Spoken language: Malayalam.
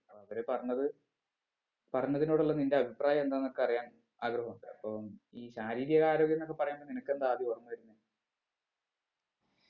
അവര് പറഞ്ഞത് പറഞ്ഞതിനോടുള്ള നിന്റെ അഭിപ്രായം എന്താന്നൊക്കെ അറിയാൻ ആഗ്രഹം ഉണ്ട് അപ്പം ഈ ശാരീരിക ആരോഗ്യംന്നൊക്കെ പറയുമ്പൊ നിനക്കെന്താ ആദ്യം ഓർമ വരുന്നേ